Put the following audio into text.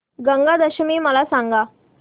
गंगा दशमी मला सांग